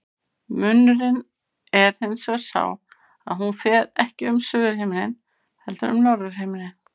Munurinn er hins vegar sá að hún fer ekki um suðurhimininn heldur um norðurhimininn.